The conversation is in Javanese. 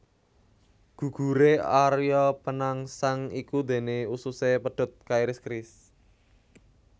Guguré Arya Penangsang iku déné ususé pedhot kairis keris